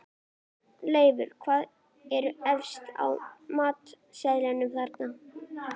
Leifur, hvað er efst á matseðlinum þar?